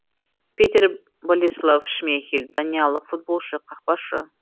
петер болеслав шмейхель даниялық футболшы қақпашы